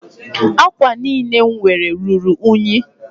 Ákwà niile m nwere ruru únyí